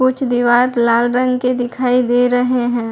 कुछ दिवार लाल रंग के दिखाई दे रहे हैं।